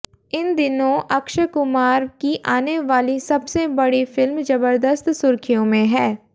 इन दिनों अक्षय कुमार की आने वाली सबसे बड़ी फिल्म जबरदस्त सुर्खियों में हैं